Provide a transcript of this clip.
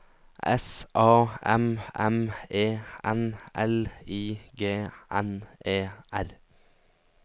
S A M M E N L I G N E R